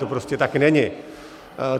To prostě tak není.